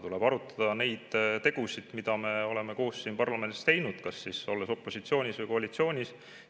Tuleb arutada neid tegusid, mida me oleme koos siin parlamendis teinud, olles siis opositsioonis või koalitsioonis.